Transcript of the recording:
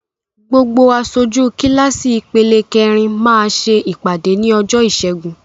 Gbogbo aṣojú kíláàsì ìpele kẹrin máa ṣe ìpàdé ní ọjọ́ ìṣẹ́gun.